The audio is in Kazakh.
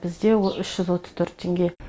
бізде ол үш жүз отыз төрт теңге